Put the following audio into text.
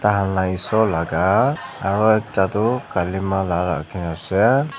aa lah eshor laga aru ekta toh kalima laga ke ase.